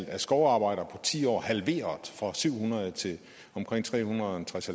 af skovarbejdere ti år halveret fra syv hundrede til omkring tre hundrede og tres